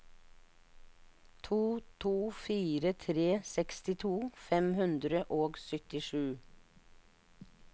to to fire tre sekstito fem hundre og syttisju